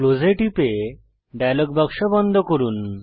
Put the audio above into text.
close এ টিপে dialog box বন্ধ করুন